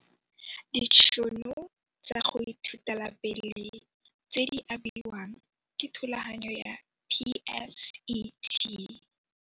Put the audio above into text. Ditšhono tsa go ithutela pele tse di abiwang ke thulaganyo ya PSET.